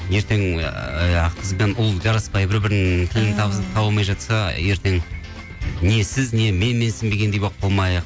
ертең ыыы қыз бен ұл жараспай бір бірінің тілін таба алмай жатса ертең не сіз не мен менсінбегендей болып қалмайық